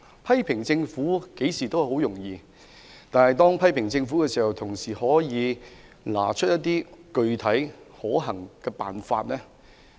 批評政府相當容易，但我們在批評政府時，也可以提出一些具體可行的方法。